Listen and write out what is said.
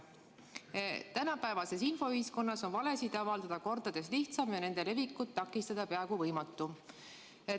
Tänapäevases infoühiskonnas on valesid avaldada kordades lihtsam ja nende levikut takistada peaaegu võimatu.